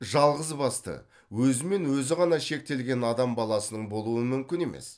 жалғыз басты өзімен өзі ғана шектелген адам баласының болуы мүмкін емес